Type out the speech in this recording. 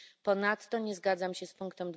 Ponadto nie zgadzam się z ust.